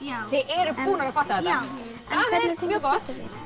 þið eruð búnar að fatta þetta það er mjög gott